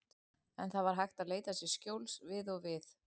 En það var hægt að leita sér skjóls við og við.